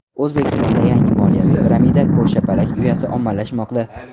O‘zbekistonda yangi moliyaviy piramida ko‘rshapalak uyasi ommalashmoqda .